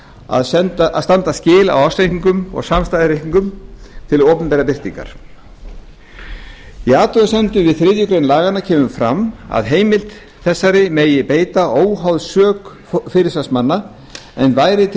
að standa skil á ársreikningum eða samstæðureikningum til opinberrar birtingar í athugasemdum við þriðju grein laganna kemur fram að heimild þessari megi beita óháð sök fyrirsvarsmanna en væri til